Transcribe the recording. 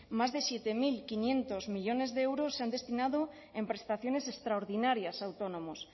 más de siete mil quinientos millónes de euros se han destinado en prestaciones extraordinarias a autónomos